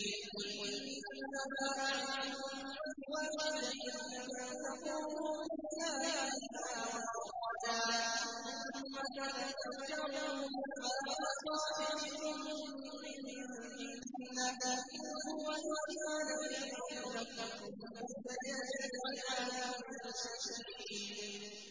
۞ قُلْ إِنَّمَا أَعِظُكُم بِوَاحِدَةٍ ۖ أَن تَقُومُوا لِلَّهِ مَثْنَىٰ وَفُرَادَىٰ ثُمَّ تَتَفَكَّرُوا ۚ مَا بِصَاحِبِكُم مِّن جِنَّةٍ ۚ إِنْ هُوَ إِلَّا نَذِيرٌ لَّكُم بَيْنَ يَدَيْ عَذَابٍ شَدِيدٍ